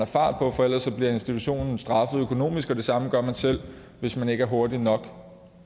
fart på for ellers bliver institutionen straffet økonomisk og det samme gør man selv hvis man ikke er hurtig nok